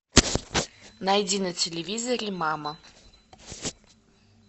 найди на телевизоре мама